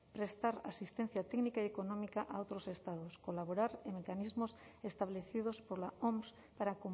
prestar asistencia técnica y económica a otros estados colaborar en mecanismos establecidos por la oms para